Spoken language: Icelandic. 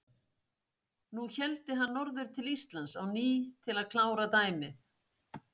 Nú héldi hann norður til Íslands á ný til að klára dæmið.